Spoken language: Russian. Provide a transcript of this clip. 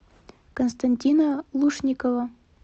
константина лушникова